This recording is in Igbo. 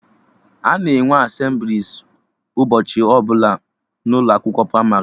Ana enwe Asemblịes ụbọchị ọbụla n'ụlọ akwụkwọ pramarị